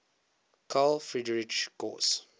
carl friedrich gauss